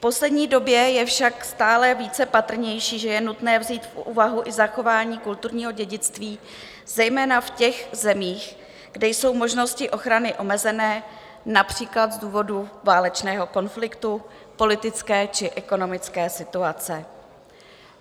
V poslední době je však stále více patrnější, že je nutné vzít v úvahu i zachování kulturního dědictví zejména v těch zemích, kde jsou možnosti ochrany omezené, například z důvodu válečného konfliktu, politické či ekonomické situace.